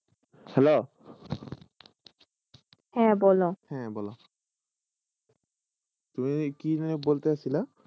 Hello! হে বল। টুয়ে কি ভাবে বলতেশীলা?